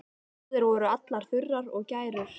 Húðir voru allar þurrar og gærur.